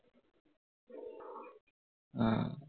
উম